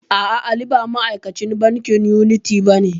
A'a, Ali ba ma'akacin bankin yuniti bane.